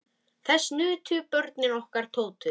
Þess nutu börnin okkar Tótu.